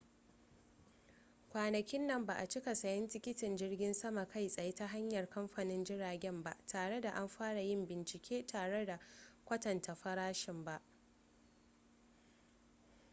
kwanakin nan ba a cika sayen tikitin jirgin sama kai tsaye ta hanyar kamfanin jiragen ba tare da an fara yin bincike tare da kwatanta farashin ba